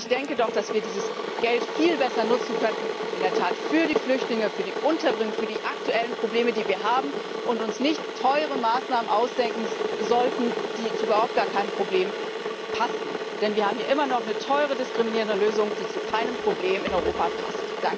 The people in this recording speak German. Ich denke doch, dass wir dieses Geld viel besser nutzen könnten in der Tat für die Flüchtlinge, für die Unterbringung, für die aktuellen Probleme, die wir haben und uns nicht teure Maßnahmen ausdenken sollten, die zu überhaupt keinem Problem passen, denn wir haben hier immer noch eine teure diskriminierende Lösung, die zu keinem Problem in Europa passt.